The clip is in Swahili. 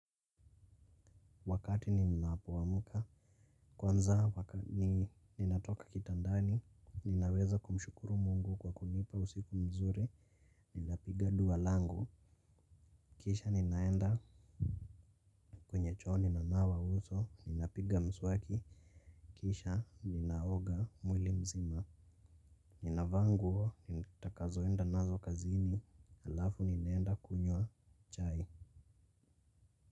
Wakati ninapoamka kwanza ninatoka kitandani. Ninaweza kumshukuru mungu kwa kunipa usiku mzuri ninapiga dua langu. Kisha ninaenda. Kwenye choo ninanawa uso ninapiga mswaki. Kisha ninaoga mwili mzima. Ninavaa nguo nitakazoenda nazo kazini halafu ninaenda kunywa chai Muzika.